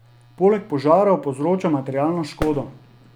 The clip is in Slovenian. Poleg požarov povzroča materialno škodo.